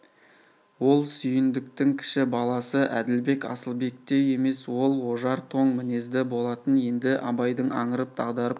ол сүйіндіктің кіші баласы әділбек асылбектей емес ол ожар тоң мінезді болатын енді абайдың аңырып дағдарып